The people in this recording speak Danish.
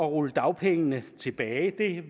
rulle dagpengene tilbage